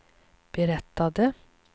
berättade